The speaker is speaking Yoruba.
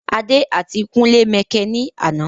Adé àti kúnlé mẹkẹ ní àná